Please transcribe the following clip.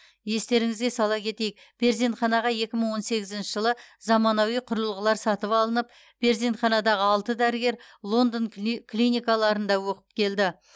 естеріңізге сала кетейік перзентханаға екі мың он сегізінші жылы заманауи құрылғылар сатып алынып перзентханадағы алты дәрігер лондон кли клиникаларында оқып келді